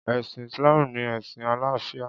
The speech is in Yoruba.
Ẹ̀sìn Islam ni ẹ̀sìn àlàáfíà.